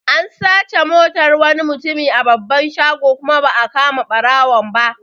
An sace Motar wani mutumi a babban shago kuma ba'a kama ɓarawon ba